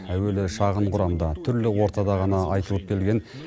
әуелі шағын құрамда түрлі ортада ғана айтылып келген